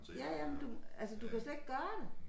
Ja ja men du altså du kan slet ikke gøre det